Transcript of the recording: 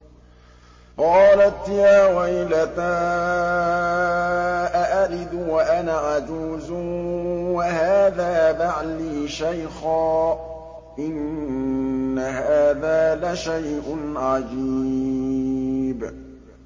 قَالَتْ يَا وَيْلَتَىٰ أَأَلِدُ وَأَنَا عَجُوزٌ وَهَٰذَا بَعْلِي شَيْخًا ۖ إِنَّ هَٰذَا لَشَيْءٌ عَجِيبٌ